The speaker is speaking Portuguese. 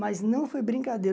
Mas não foi brincadeira.